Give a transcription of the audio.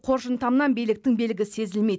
қоржын тамнан биліктің белгісі сезілмейді